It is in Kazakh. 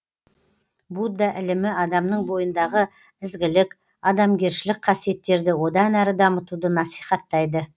будда ілімі адамның бойындағы ізгілік адамгершілік қасиеттерді одан әрі дамытуды насихаттайды